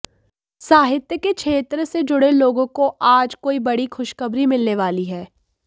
साहित्य के क्षेत्र से जुड़े लोगों को आज कोई बड़ी खुशखबरी मिलने वाली है